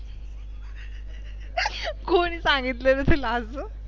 कोणी सांगितल रे तुला असं?